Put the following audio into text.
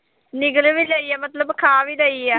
ਨਿਗਲ ਵੀ ਗਈ ਹੈ ਮਤਲਬ ਖਾ ਵੀ ਗਈ ਹੈ